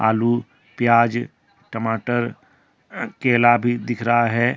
आलू प्याज टमाटर केला भी दिख रहा है।